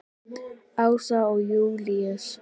Ása og Júlíus.